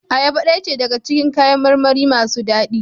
Ayaba daya ce daga cikin kayan marmari masu dadi.